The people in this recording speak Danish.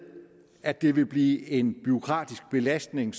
at det vil blive en bureaukratisk belastning